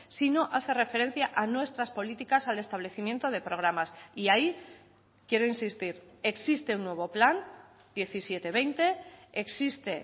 sino hace referencia a nuestras políticas al establecimiento de programas y ahí quiero insistir existe un nuevo plan diecisiete veinte existe